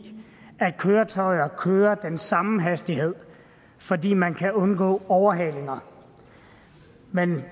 at køretøjer kører med samme hastighed fordi man kan undgå overhalinger men